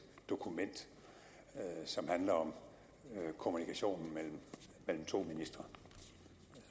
dokument som handler om kommunikationen mellem to ministre